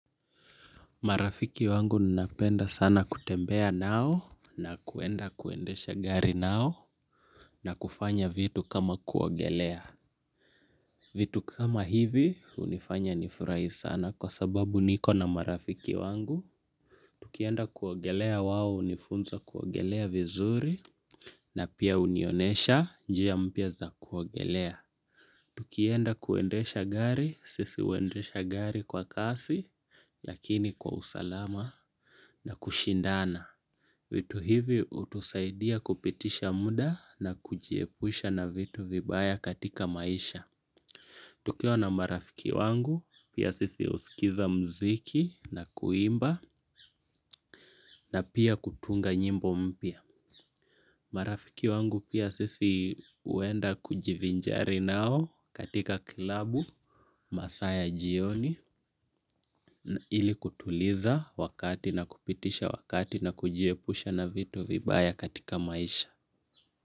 Marafiki wangu ninapenda sana kutembea na wao na kuenda kuendesha gari nao na kufanya vitu kama kuogelea. Vitu kama hivi hunifanya nifurahi sana kwa sababu niko na marafiki wangu. Tukienda kuogelea wao hunifunza kuogelea vizuri na pia hunionyesha njia mpya za kuogelea. Tukienda kuendesha gari, sisi huendesha kwa kasu lakini kwa usalama na kushindana. Vitu hivi hutusaidia kupitisha muda na kujiepusha na vitu vibaya katika maisha. Tukiwa na marafiki wangu, pia sisi husikiza muziki na kuimba na pia kutunga nyimbo mpya. Marafiki wangu pia sisi huenda kujivinjari nao katika kilabu masaa ya jioni ili kutuliza wakati na kupitisha wakati na kujiepusha na vitu vibaya katika maisha.